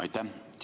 Aitäh!